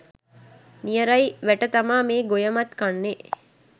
නියරයි වැට තමා මේ ගොයමත් කන්නේ